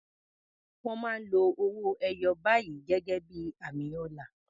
Wọ́n máa ń lo owó ẹyọ báyìí gẹ́gẹ́ bí i àmì ọlá.